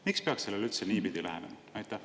Miks peaks sellele üldse niipidi lähenema?